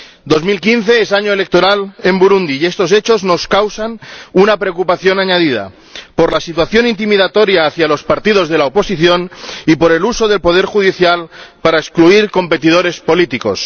2015 es año electoral en Burundi y estos hechos nos causan una preocupación añadida, por la situación intimidatoria hacia los partidos de la oposición y por el uso del poder judicial para excluir a competidores políticos.